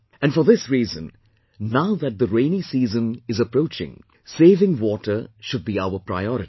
And for this reason, now that the rainy season is approaching, saving water should be our priority